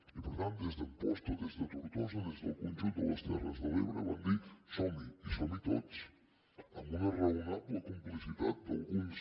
i per tant des d’amposta des de tortosa des del conjunt de les terres de l’ebre van dir som hi i som hi tots amb una raonable complicitat d’alguns